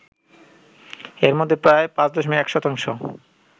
এর মধ্যে প্রায় ৫.১ শতাংশ